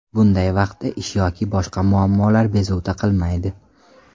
Bunday vaqtda ish yoki boshqa muammolar bezovta qilmaydi.